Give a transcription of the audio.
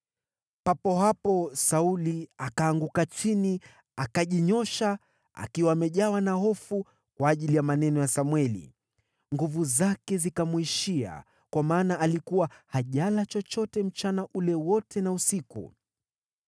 Papo hapo Sauli akaanguka chini, akajinyoosha, akiwa amejawa na hofu kwa ajili ya maneno ya Samweli. Nguvu zake zikamwishia kwa maana alikuwa hajala chochote mchana ule wote na usiku.